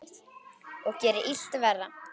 Og gerir illt verra.